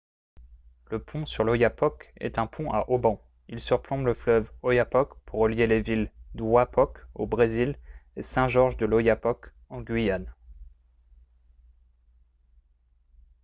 le pont sur l'oyapock est un pont à haubans il surplombe le fleuve oyapock pour relier les villes d'oiapoque au brésil et saint-georges-de-l'oyapock en guyane